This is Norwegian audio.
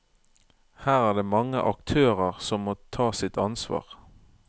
Her er det mange aktører som må ta sitt ansvar.